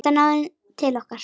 Þetta náði til okkar.